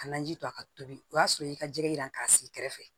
Ka naji to a ka tobi o y'a sɔrɔ i ka jɛgɛ yiran k'a sigi kɛrɛfɛ